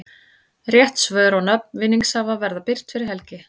Rétt svör og nöfn vinningshafa verða birt fyrir helgi.